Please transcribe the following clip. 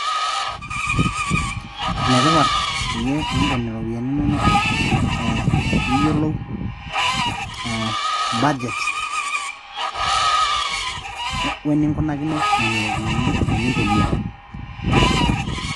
enetipat peyie iinken ropiyiani inonok ee piiyolou budget weninkunakino nena ropiyiani tenintumia.